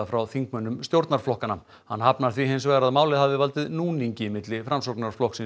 frá þingmönnum stjórnarflokkanna hann hafnar því hins vegar að málið hafi valdið núningi milli Framsóknarflokks